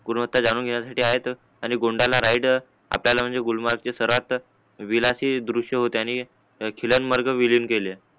गुणवत्ता जाणून घेणयासाठी आहेत अन गोंडाना राईट आपल्याला म्हणजे गुलमर्ग चे सरहद विलाचे दृश्य आणि खिळ्यांमार्ग विलिंब केले